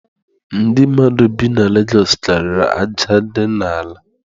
Ndị mmadụ bi na Legosụ karịrị aja dị n'ala.